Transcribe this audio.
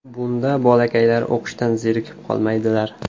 Bunda bolakaylar o‘qishdan zerikib qolmaydilar.